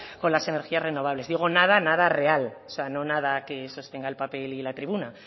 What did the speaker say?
con las energías renovables digo nada nada real o sea no nada que sostenga el papel y la tribuna